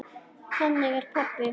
Þannig er pabbi.